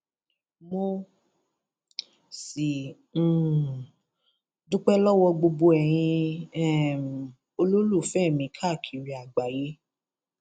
mo sì um dúpẹ lọwọ gbogbo ẹyin um olólùfẹ mi káàkiri àgbáyé